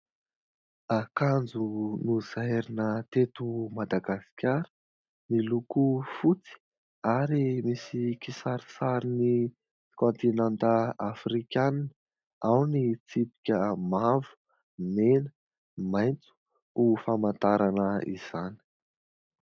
Akanjo nozairina teto Madagasikara miloko fotsy ary misy kisarisarin'ny kaontinanta Afrikanina, ao ny tsipika mavo, mena, maitso ho famantarana izany.